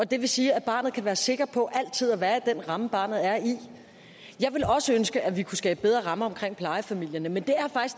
det vil sige at barnet kan være sikker på altid at være i den ramme barnet er i jeg ville også ønske at vi kunne skabe bedre rammer for plejefamilierne men